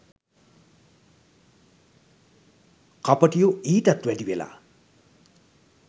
කපටියො ඊටත් වැඩි වෙලා?